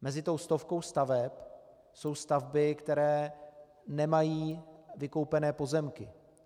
Mezi tou stovkou staveb jsou stavby, které nemají vykoupené pozemky.